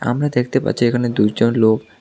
আমরা দেখতে পাচ্ছি এখানে দুইজন লোক।